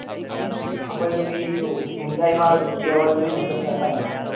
આપડે તો ભાઈ જો hyundai માં લેવા જોઈએ કે નકર ટાટા માં